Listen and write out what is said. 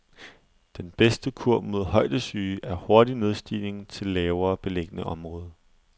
Den bedste kur mod højdesyge er hurtig nedstigning til lavere beliggende område.